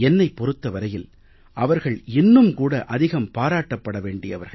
என்னைப் பொறுத்த வரையில் அவர்கள் இன்னும் கூட அதிகம் பாராட்டப் பட வேண்டியவர்கள்